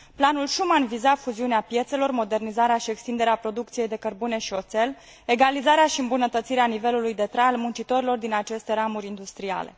Planul Schuman viza fuziunea piețelor, modernizarea și extinderea producției de cărbune și oțel, egalizarea și îmbunătățirea nivelului de trai al muncitorilor din aceste ramuri industriale.